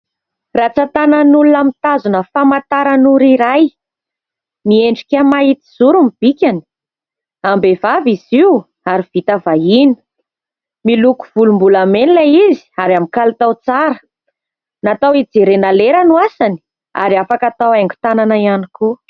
Rantsan-tanan'olona mitazona famantaran'ora iray. Miendrika mahitsizoro ny bikany, am-behivavy izy io ary vita vahiny, miloko volombolamena ilay izy ary amin'ny kalitao tsara. Natao hijerena lera no asany ary afaka atao haingon-tanana ihany koa.